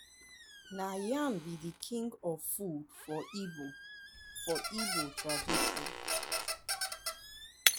na yam be de king of food for igbo for igbo tradition.